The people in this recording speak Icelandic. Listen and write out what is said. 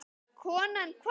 Konan hváði.